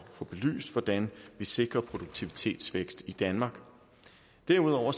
få belyst hvordan vi sikrer produktivitetsvækst i danmark derudover